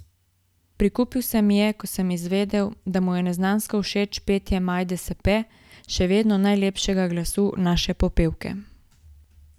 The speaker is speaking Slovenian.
Prikupil se mi je, ko sem izvedel, da mu je neznansko všeč petje Majde Sepe, še vedno najlepšega glasu naše popevke.